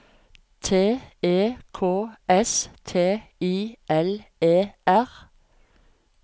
T E K S T I L E R